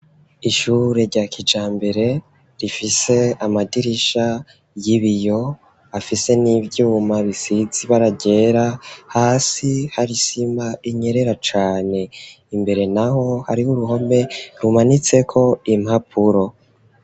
Ishure rya kijambere rifise amadirisha y'ibiyo, afise n'ivyuma bisize ibara ryera, hasi hari isima inyerera cane, imbere naho hari uruhome rumanitseko impapuro.